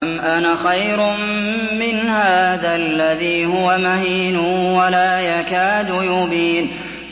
أَمْ أَنَا خَيْرٌ مِّنْ هَٰذَا الَّذِي هُوَ مَهِينٌ وَلَا يَكَادُ يُبِينُ